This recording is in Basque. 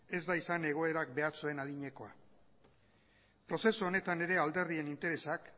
ez da izan egoerak behar zuen adinekoa prozesu honetan ere alderdien interesak